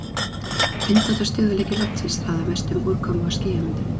Vindátt og stöðugleiki loftsins ráða mestu um úrkomu- og skýjamyndun.